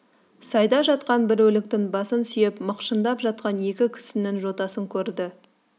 сайда жатқан бір өліктің басын сүйеп мықшындап жатқан екі кісінің жотасын көрді